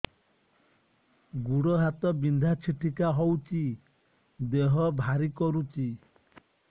ଗୁଡ଼ ହାତ ବିନ୍ଧା ଛିଟିକା ହଉଚି ଦେହ ଭାରି କରୁଚି